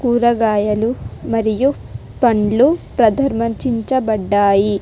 కూరగాయలు మరియు పండ్లు ప్రదర్మచించ బడ్డాయి.